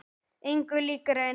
Engu líkara en